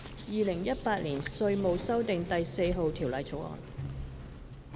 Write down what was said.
《2018年稅務條例草案》。